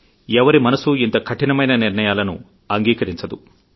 ఎవ్వరి మనసూ ఇంత కఠినమైన నిర్ణయాలను అంగీకరించరు